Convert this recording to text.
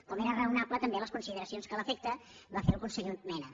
com eren raonables també les consideracions que a l’efecte va fer el conseller mena